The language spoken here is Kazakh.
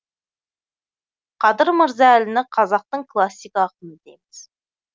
қадыр мырза әліні қазақтың классик ақыны дейміз